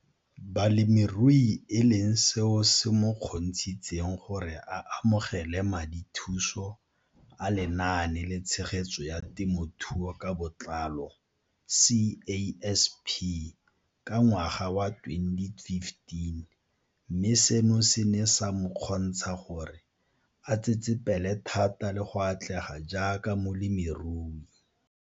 Balemirui e leng seo se mo kgontshitseng gore a amogele madithuso a Lenaane la Tshegetso ya Te mothuo ka Botlalo CASP ka ngwaga wa 2015, mme seno se ne sa mo kgontsha gore a tsetsepele thata le go atlega jaaka molemirui.